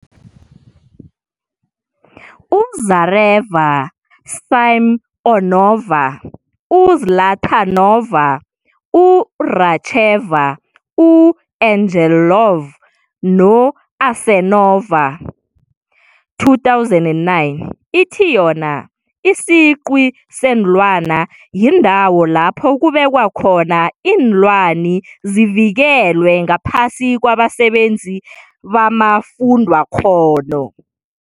U-Zareva-Simeonova, u-Zlatanova, u-Racheva, u-Angelov no-Asenova, 2009, ithi yona, isiqwi seenlwana yindawo lapho kubekwa khona iinlwani, zivikelwe ngaphasi kwabasabenzi bamafundwakghono.